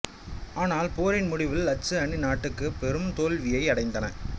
ஆனால் போரின் முடிவில் அச்சு அணி நாடுகள் பெரும் தோல்வியை அடைந்தன